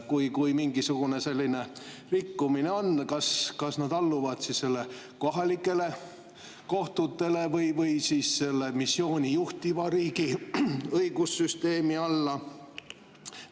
Kui mingisugune selline rikkumine tekib, kas nad alluvad siis kohalikele kohtutele või seda missiooni juhtiva riigi õigussüsteemi alla?